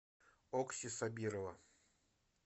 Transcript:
окси сабирова